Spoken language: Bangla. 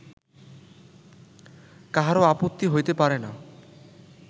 কাহারও আপত্তি হইতে পারে না